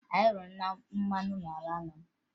Anyị hụrụ mmanụ n'ala nna m